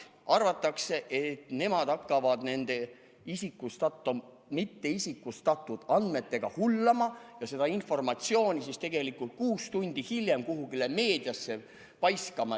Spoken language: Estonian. Arvatakse, et saadikud hakkavad nende mitteisikustatud andmetega hullama ja seda informatsiooni kuus tundi hiljem kuhugi meediasse paiskama.